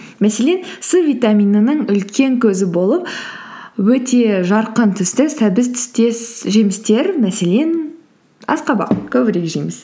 мәселен с витаминының үлкен көзі болып өте жарқын түсті сәбіз түстес жемістер мәселен асқабақ көбірек жейміз